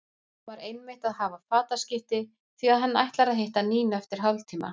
Hann var einmitt að hafa fataskipti því að hann ætlar að hitta Nínu eftir hálftíma.